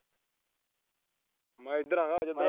ਮੈਂ ਇਧਰ ਆ